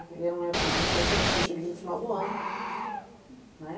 E era uma época de muita gente, porque eu cheguei no final do ano, né.